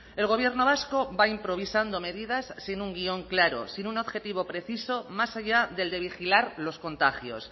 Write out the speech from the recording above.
el gobierno vasco va improvisando medidas sin un guion claro sin un objetivo preciso más allá del de vigilar los contagios